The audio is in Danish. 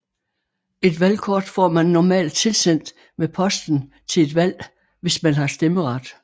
Et valgkort får man normalt tilsendt med posten til et valg hvis man har stemmeret